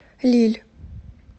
лилль